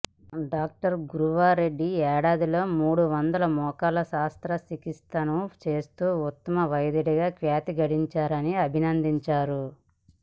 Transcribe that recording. doctor Guruva Reddy ఏడాదిలో మూడు వందల మోకాళ్ల శస్త్రచికిత్సలను చేస్తూ ఉత్తమ వైద్యుడిగా ఖ్యాతి గడించారని అభినందించారు